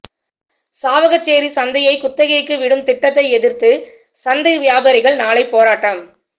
சாவகச்சேரி சந்தையை குத்தகைக்கு விடும் திட்டத்தை எதிர்த்து சந்தை வியாபாரிகள் நாளை போராட்டம்